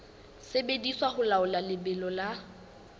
sebediswa ho laola lebelo la